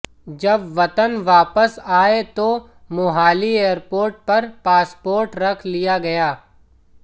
जब वतन वापस आया तो मोहाली एयरपोर्ट पर पासपोर्ट रख लिया गया